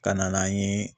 Ka na n'an ye